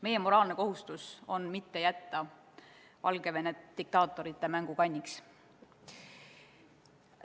Meie moraalne kohustus on mitte jätta Valgevenet diktaatorite mängukanniks.